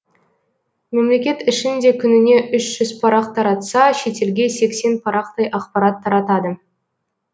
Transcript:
мемлекет ішін де күніне үш жүз парақ таратса шетелге сексен парақтай ақпарат таратады